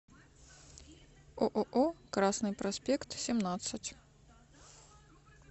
ооо красный проспект семнадцать